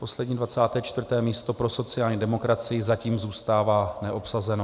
Poslední, 24. místo pro sociální demokracii zatím zůstává neobsazeno.